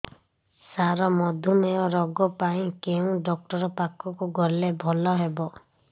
ସାର ମଧୁମେହ ରୋଗ ପାଇଁ କେଉଁ ଡକ୍ଟର ପାଖକୁ ଗଲେ ଭଲ ହେବ